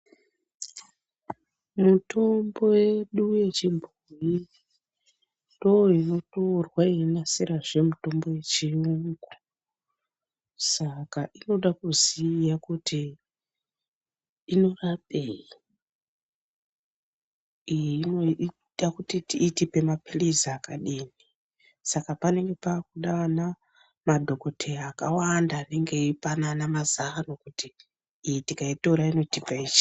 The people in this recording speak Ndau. Mutombo yedu yechibhoyi ndoinotorwa yeinasirazve mitombo yechiyungu Saka inoda kuziya kuti inorapei iyi inoita kuti itipe maphilizi akadini saka panenge pakuda ana madhoKoteya akawanda anenge eipanana mazano kuti iyi tikaitora inotipa ichi.